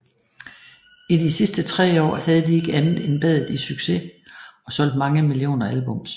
I de sidste tre år havde de ikke andet end badet i succes og solgt mange millioner albums